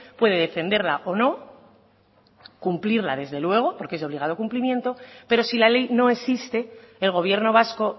puede defenderla o no cumplirla desde luego porque es de obligado cumplimiento pero si la ley no existe el gobierno vasco